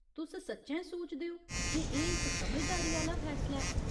तुस सच्चैं सोचदे ओ जे एह् इक समझदारी आह्‌ला फैसला ऐ ?